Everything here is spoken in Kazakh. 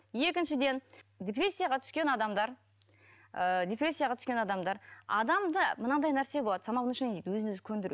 екіншіден депрессияға түскен адамдар ыыы депрессияға түскен адамдар адамда мынандай нәрсе болады самовнушение дейді өзін өзі көңдіру